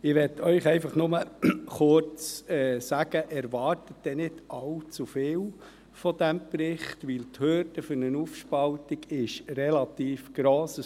Ich möchte Ihnen nur kurz sagen: Erwarten Sie nicht allzu viel von diesem Bericht, weil die Hürden für eine Aufspaltung relativ gross sind.